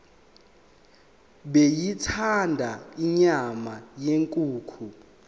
beyithanda inyama yenkukhu